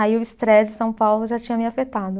Aí o estresse de São Paulo já tinha me afetado.